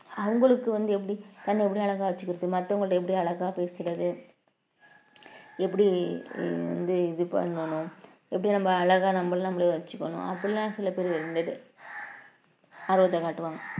அவங்களுக்கு வந்து எப்படி தன்னை எப்படி அழகா வச்சுக்கிறது மத்தவங்ககிட்ட எப்படி அழகா பேசுறது எப்படி வந்து இது பண்ணணும் எப்படி நம்ம அழகா நம்மள நாமளே வச்சுக்கணும் அப்படிலாம் சில பேரு இருந்தது ஆர்வத்தை காட்டுவாங்க